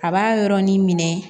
A b'a yɔrɔnin minɛ